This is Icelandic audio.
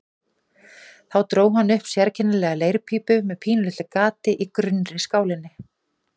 Þá dró hann upp sérkennilega leirpípu með pínulitlu gati í grunnri skálinni.